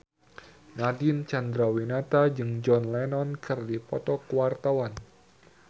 Nadine Chandrawinata jeung John Lennon keur dipoto ku wartawan